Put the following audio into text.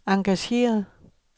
engageret